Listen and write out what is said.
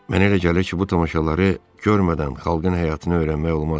Mənə elə gəlir ki, bu tamaşaları görmədən xalqın həyatını öyrənmək olmaz.